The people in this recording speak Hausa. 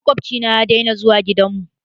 Makwabci na ya daina zuwa gidan mu.